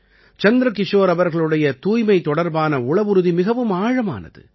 சந்திரகிஷோர் அவர்களுடைய தூய்மை தொடர்பான உளவுறுதி மிகவும் ஆழமானது